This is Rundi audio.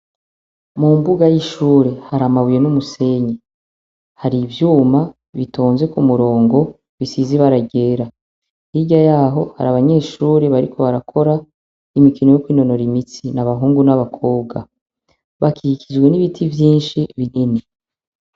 Mu mbuga y’ishure , har’amabuye n’umusenyi. Har’ivyuma bitonze kumurongo bisiz’ibara ryera. Hirya yaho har’abanyeshure bariko barakora imikino yo kwinonora imitsi. N’abahungu n’abakobwa. Bakikijwe n’ibiti vyinshi binini.